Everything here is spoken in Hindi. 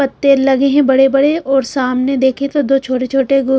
पत्ते लगे हैं बड़े-बड़ेऔर सामने देखे तो दो छोटे-छोटे--